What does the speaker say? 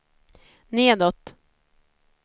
nedåt